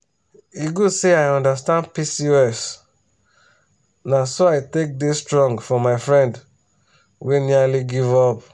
e good say i understand pcos na so i take dey strong for my friend wey nearly give up.